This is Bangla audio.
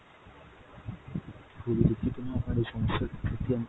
খুবই দুঃখিত ma'am আপনার এই সমস্যার ।